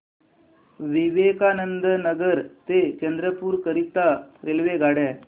विवेकानंद नगर ते चंद्रपूर करीता रेल्वेगाड्या